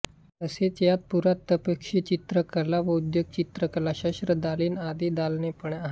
तसेच यात पुरातत्वपक्षीदालनकला व उद्योगचित्रकलाशस्त्रदालन आदी दालने पण आहेत